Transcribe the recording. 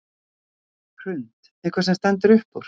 Hrund: Eitthvað sem stendur upp úr?